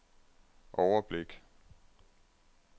overblik